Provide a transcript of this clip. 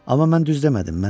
Amma mən düz demədim.